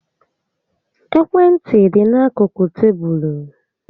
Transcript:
Ekwe ntị dị n'akụkụ tébulu